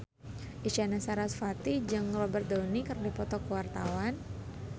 Isyana Sarasvati jeung Robert Downey keur dipoto ku wartawan